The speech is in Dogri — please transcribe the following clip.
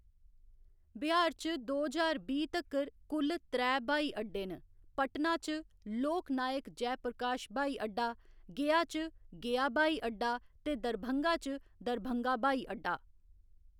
बिहार च दो ज्हार बीह्‌ तक्कर कुल त्रै ब्हाई अड्डे न, पटना च लोक नायक जयप्रकाश ब्हाई अड्डा, गया च गया ब्हाई अड्डा ते दरभंगा च दरभंगा ब्हाई अड्डा।